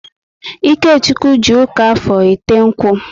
Ikechukwu ji ụka Afọr ete nkwu